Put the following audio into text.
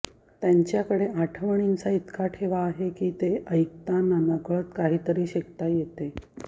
त्यांच्याकडे आठवणींचा इतका ठेवा आहे की ते ऐकताना नकळत काहीतरी शिकता येते